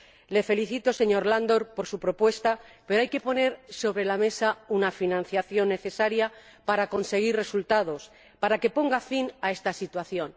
Le felicito, señor Andor, por su propuesta, pero hay que poner sobre la mesa una financiación necesaria para conseguir resultados, para que se ponga fin a esta situación.